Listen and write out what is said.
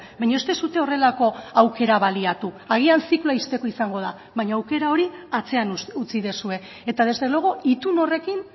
baina ez duzue horrelako aukera baliatu agian zikloa ixteko izango da baina aukera hori atzean utzi duzue eta desde luego itun horrekin